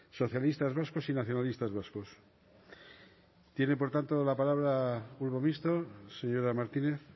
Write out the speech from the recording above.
socialistas vascos y nacionalistas vascos tiene por tanto la palabra el grupo mixto señora martínez